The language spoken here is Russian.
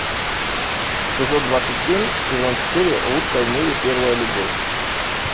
эпизод двадцать семь сезон четыре лучшая в мире первая любовь